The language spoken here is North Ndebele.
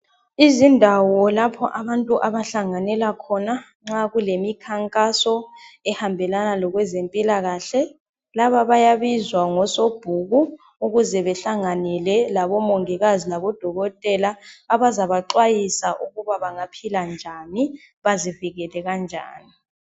Izindawo lapho abantu abahlanganela khona nxa kulemikhankaso ehambelana lokwezempilakahle. Laba bayabizwa ngosobhuku ukuze behlanganyele labomongikazi labodokotela abazabaxwayiswa ukuba b angaphila njani, bazivikele kanjani.